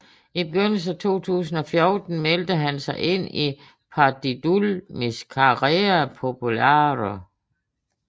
I begyndelsen af 2014 meldte han sig ind i Partidul Mișcarea Populară